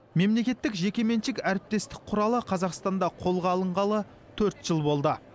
мемлекеттік жекеменшік әріптестік құралы қазақстанда қолға алынғалы төрт жыл болды